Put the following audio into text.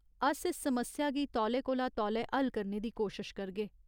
अस इस समस्या गी तौले कोला तौले हल करने दी कोशश करगे ।